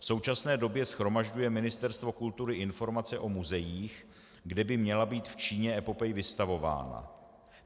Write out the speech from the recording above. V současné době shromažďuje Ministerstvo kultury informace o muzeích, kde by měla být v Číně epopej vystavována.